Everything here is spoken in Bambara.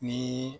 Ni